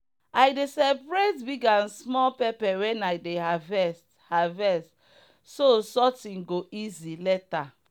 i dey separate big and small pepper when i dey harvest harvest so sorting go easy later.